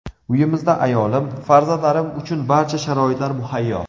Uyimizda ayolim, farzandlarim uchun barcha sharoitlar muhayyo.